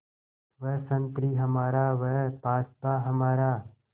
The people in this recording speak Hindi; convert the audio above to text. वह संतरी हमारा वह पासबाँ हमारा